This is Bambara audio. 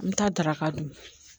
N bɛ taa daraka dun